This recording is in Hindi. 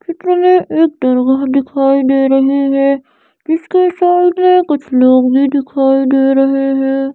चित्र में एक दरगाह दिखाई दे रही है जिसके सामने कुछ लोग भी दिखाई दे रहे हैं।